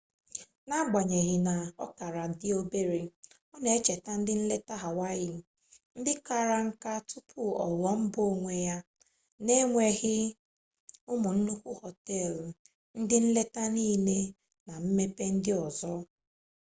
n'agbanyeghị na ọ kara dị obere ọ na-echeta ndị nleta hawaii ndị kara nka tupu ọ ghụọ mba onwe ya na-enweghị ụmụ nnukwu họteelụ ndị nleta niile na mmepe ndị ọzọ